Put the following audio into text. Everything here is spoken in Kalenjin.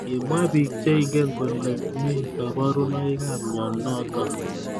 Kimwa bik cheingen kole mi kabarunoik ab mnyenotok.